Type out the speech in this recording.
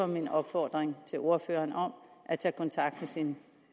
min opfordring til ordføreren om at tage kontakt til